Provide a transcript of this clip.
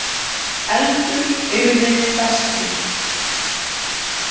Eldur yrði bestur.